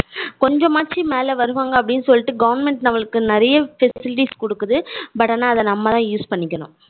கொஞ்சமாச்சு மேல வருவாங்க அப்படின்னு சொல்லிட்டு government நமக்கு நிறைய facilities கொடுக்குது but ஆனா அத நம்ம தான் use பண்ணிக்கணும்.